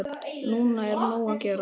Núna er nóg að gera.